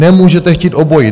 Nemůžete chtít obojí.